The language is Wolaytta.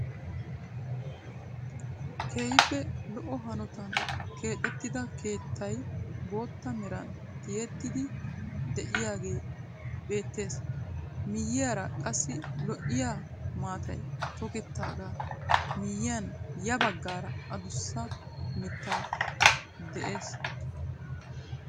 Keehippe lo"o hanotan keexettida keettay bootta meran tiyettidi de'iyaagee beettees. miyiyaara qassi lo"iyaa maatay toketaagaa miyiyan ya baggaara adussa mittay de'ees.